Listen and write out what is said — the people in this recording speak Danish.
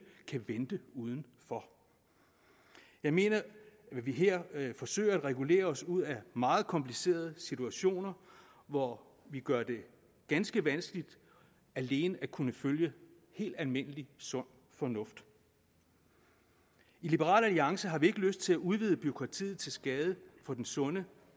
kan vente udenfor jeg mener vi her forsøger at regulere os ud af meget komplicerede situationer hvor vi gør det ganske vanskeligt alene at kunne følge helt almindelig sund fornuft i liberal alliance har vi ikke lyst til at udvide bureaukratiet til skade for den sunde